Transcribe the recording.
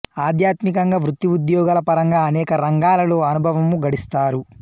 ఆధ్యాత్మికంగా వృత్తి ఉద్యోగాల పరంగా అనేక రంగాలలో అనుభవము గడిస్తారు